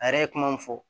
A yɛrɛ ye kuma min fɔ